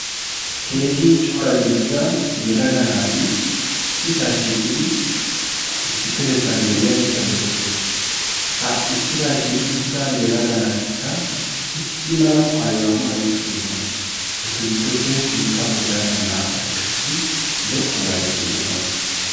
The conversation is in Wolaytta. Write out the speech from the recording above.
Keehin cora dida yelaga naati issisaa shiiqidi issipetettan de'iyaageeta besses. ha issisaa shiiqida yelaga naatikka issi mala maayuwaa maayi uttidosona etu giddoppe sintta baggaara naa'ati qassi zokkuwaa zaari uttidosona.